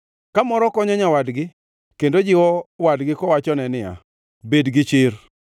Kamoro konyo nyawadgi, kendo jiwo wadgi kowachone niya, “Bed gichir!”